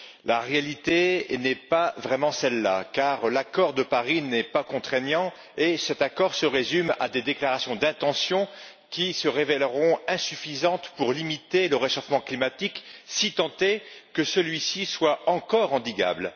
La réalité n'est pas vraiment celle là, car l'accord de Paris n'est pas contraignant, et il se résume à des déclarations d'intention qui se révéleront insuffisantes pour limiter le réchauffement climatique, si tant est que celui ci soit encore endiguable.